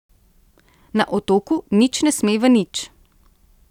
Na otoku nič ne sme v nič.